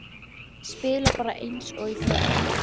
Spila bara eins og í fyrra?